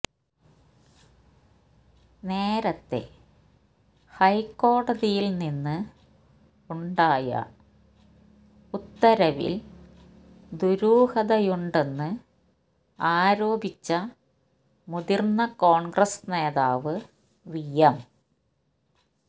നേരത്തേ ഹൈക്കോടതിയിൽനിന്ന് ഉണ്ടായ ഉത്തരവിൽ ദുരൂഹതയുണ്ടെന്ന് ആരോപിച്ച മുതിർന്ന കോൺഗ്രസ് നേതാവ് വി എം